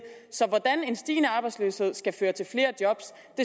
så hvordan en stigende arbejdsløshed skal føre til flere job